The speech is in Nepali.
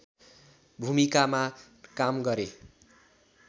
भुमिकामा काम गरे